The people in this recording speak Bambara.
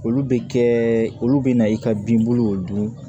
Olu bɛ kɛ olu bɛ na i ka binburuw dun